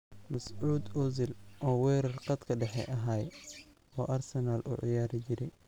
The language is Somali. Mesut Ozil oo werar qatka dexe axay oo Arsenal uuciyarije.